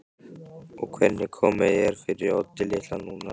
Og hvernig komið er fyrir Oddi litla núna.